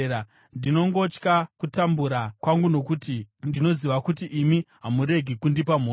ndinongotya kutambura kwangu, nokuti ndinoziva kuti imi hamuregi kundipa mhosva.